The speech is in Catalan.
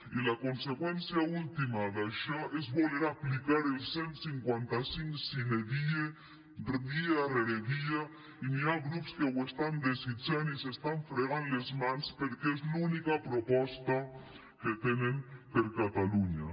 i la conseqüència última d’això és voler aplicar el cent i cinquanta cinc sine die dia rere dia i hi ha grups que ho estan desitjant i s’estan fregant les mans perquè és l’única proposta que tenen per a catalunya